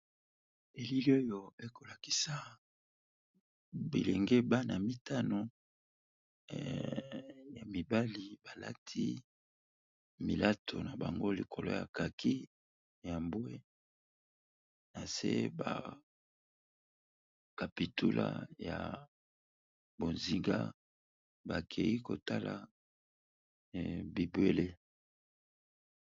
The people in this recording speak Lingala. Eili oyo ekolakisa bilenge bana mitano ya mibali balati milato na bango likolo ya kaki ya mbwe na se ba kapitula ya bozinga bakeyi kotala bibwele.